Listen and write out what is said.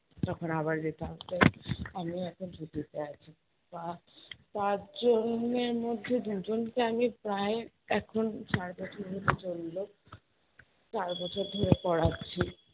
তখন আবার আমিও এখন ছুটিতে আছি। পাঁ~ পাঁচ জনের মধ্যে দুজনকে আমি প্রায় এখন পর্যন্ত চললো। চার বছর ধরে পড়াচ্ছি,